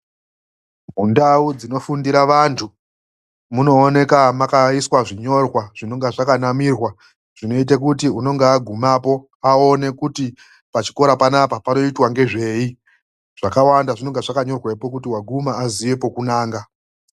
MUNDAU DZINOFUNDIRA ANTU MUNOONEKA MAKAISWA ZVINYORWA ZVINENGE ZVAKANAMIRWA ZVINOITE KUTI UNONGA AGUMAPO AONE KUTI PACHIKORA PANAPA PANOITWA NEZVEI ZVAKAWANDA ZVINENGE ZVAKANYORWEPO ZVINOITA KUTI AGUMAPO UNOONA PEKUNANGA.